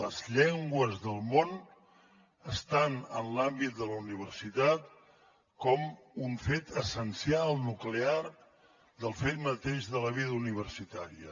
les llengües del món estan en l’àmbit de la universitat com un fet essencial nuclear del fet mateix de la vida universitària